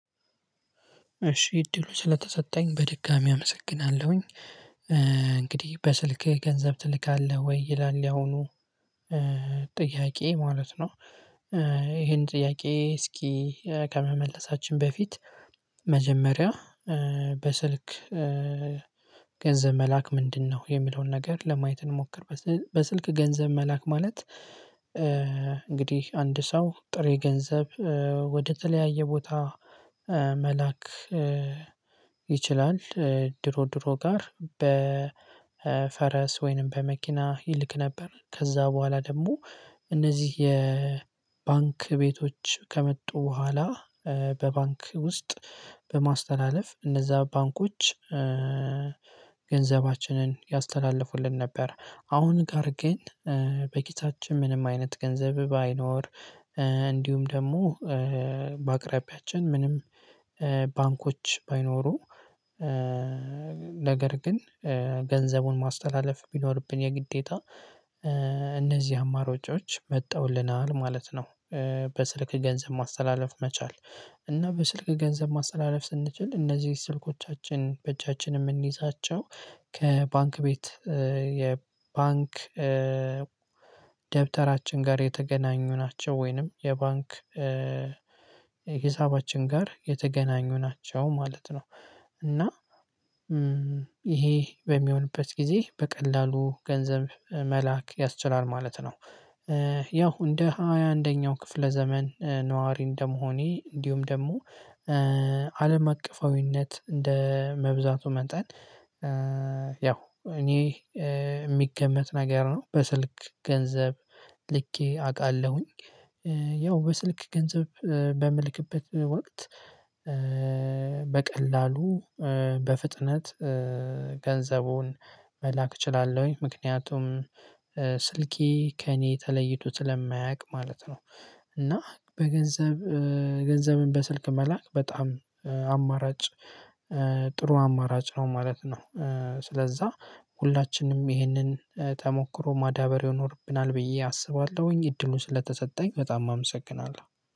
እሺ እድሉ ስለተሰጠኝ በድጋሚ አመሰግናለሁኝ። እንግዲህ በስልክህ ገንዘብ ትልካለህ ወይ ይላል ያሁኑ? ጥያቄ ማለት ነው። ይሄን ጥያቄ እስኪ ከመመለሳችን በፊት። መጀመሪያ በስልክ ገንዘብ መላክ ምንድነው የሚለውን ነገር ለማየት እንሞክር። በስልክ ገንዘብ መላክ ማለት እንግዲህ አንድ ሰው ጥሬ ገንዘብ ወደተለያየ ቦታ መላክ ይችላል። ድሮ ድሮ ጋር በ ፈረስ ወይንም በመኪና ይልክ ነበር። ከዛ በኋላ ደግሞ እነዚህ የባንክ ቤቶች ከመጡ በኋላ። በባንክ ውስጥ በማስተላለፍ እነዛ ባንኮች ገንዘባችንን ያስተላልፉልን ነበር። አሁን ጋር ግን በኪሳችን ምንም አይነት ገንዘብ ባይኖር እንዲሁም ደግሞ በአቅራቢያችን ምንም ባንኮች ባይኖሩ ነገር ግን ገንዘቡን ማስተላለፍ ቢኖርብን የግዴታ እነዚህ አማራጮች መጣውልናል ማለት ነው። በስልክ ገንዘብ ማስተላለፍ መቻል እና በስልክ ገንዘብ ማስተላለፍ ስንችል እነዚህ ስልኮቻችን በእጃችን እምንይዛቸው። ከባንክ ቤት የባንክ ደብተራችን ጋር የተገናኙ ናቸው ወይንም የባንክ ሂሳባችን ጋር የተገናኙ ናቸው ማለት ነው። እና ይሄ በሚሆንበት ጊዜ በቀላሉ ገንዘብ መላክ ያስችላል ማለት ነው። ያው እንደ ሃያ አንደኛው ክፍለ ዘመን ነዋሪ እንደመሆኔ እንዲሁም ደግሞ አለም አቀፋዊነት እንደ መብዛቱ መጠን ያው እኔ እሚገመት ነገር ነው በስልክ ገንዘብ ልኬ አውቃለሁኝ። ያው በስልክ ገንዘብ በምልክበት ወቅት በቀላሉ በፍጥነት ገንዘቡን መላክ እችላለሁኝ ምክንያቱም ስልኬ ከእኔ ተለይቶ ስለማያውቅ ማለት ነው። እና በገንዘብ ገንዘብን በስልክ መላክ በጣም አማራጭ ጥሩ አማራጭ ነው ማለት ነው። ስለዛ ሁላችንም ይሄንን ተሞክሮ ማዳበር ይኖርብናል ብዬ አስባለሁኝ። እድሉን ስለተሰጠኝ በጣም አመሰግናለሁ